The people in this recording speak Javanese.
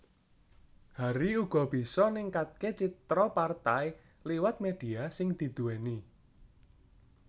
Hari uga bisa ningkatke citra partai liwat media sing didhuweni